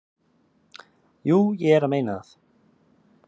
"""Jú, ég er að meina það."""